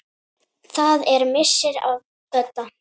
Það er missir að Bödda.